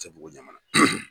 ATTbugu Ɲamana